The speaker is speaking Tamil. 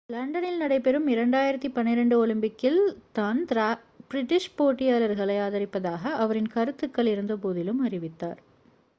லண்டனில் நடைபெறும் 2012 ஒலிம்பிக்கில் தான் பிரிட்டிஷ் போட்டியாளர்களை ஆதரிப்பதாக அவரின் கருத்துக்கள் இருந்தபோதிலும் அறிவித்தார்